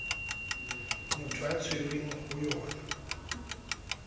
motho a tshwerweng ho yona